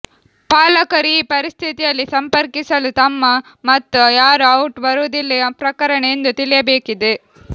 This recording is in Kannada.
ಪಾಲಕರು ಈ ಪರಿಸ್ಥಿತಿಯಲ್ಲಿ ಸಂಪರ್ಕಿಸಲು ತಮ್ಮ ಮತ್ತು ಯಾರು ಔಟ್ ಬರುವುದಿಲ್ಲ ಪ್ರಕರಣ ಎಂದು ತಿಳಿಯಬೇಕಿದೆ